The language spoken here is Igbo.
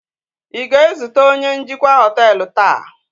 ị ga-ezute onye njikwa họtelu taa?